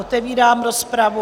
Otevírám rozpravu.